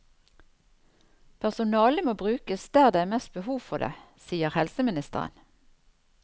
Personalet må brukes der det er mest behov for det, sier helseministeren.